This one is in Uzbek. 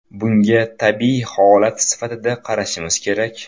Bunga tabiiy holat sifatida qarashimiz kerak.